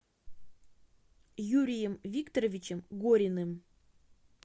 юрием викторовичем гориным